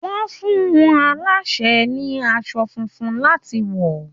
Wọ́n fún àọn alásè ní aṣọ funfun láti wọ̀.